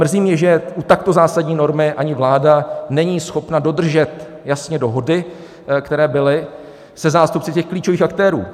Mrzí mě, že u takto zásadní normy ani vláda není schopna dodržet jasně dohody, které byly se zástupci těch klíčových aktérů.